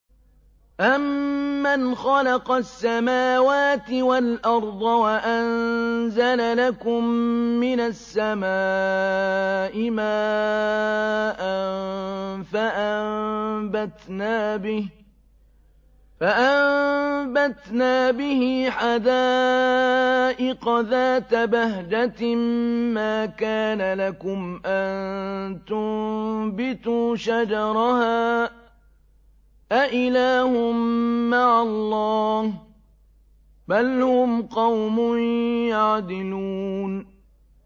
أَمَّنْ خَلَقَ السَّمَاوَاتِ وَالْأَرْضَ وَأَنزَلَ لَكُم مِّنَ السَّمَاءِ مَاءً فَأَنبَتْنَا بِهِ حَدَائِقَ ذَاتَ بَهْجَةٍ مَّا كَانَ لَكُمْ أَن تُنبِتُوا شَجَرَهَا ۗ أَإِلَٰهٌ مَّعَ اللَّهِ ۚ بَلْ هُمْ قَوْمٌ يَعْدِلُونَ